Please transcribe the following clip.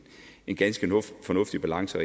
en ganske fornuftig balance